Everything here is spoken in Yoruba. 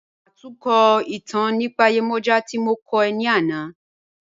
Ṣátùnkọ́ itàn nípa Yemoja tí mo kọ̀ ọ́ ní ànà.